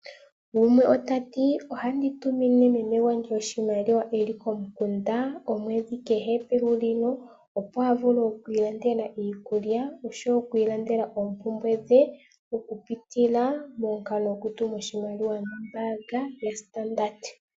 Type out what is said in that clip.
Gumwe ota ti ohandi tumine meme gwe oshimaliwa eli komukunda omwedhi kehe pehulilo opo a vule oku ilandela iikulya oshowo oku ilandela oompumbwe dhe ,okupitila momukalo gwokutuma oshimaliwa nombaanga nombaanga yaStandard.